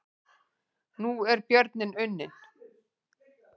Nú er björninn unninn